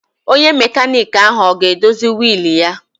Onye mekaniki ahụ ọ ga-edozi wiil ya?